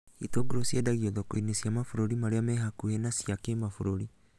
Itũngũrũ ciendagio thoko-inĩ cia mabũrũri maria mehakuĩ na cia kĩmabũrũri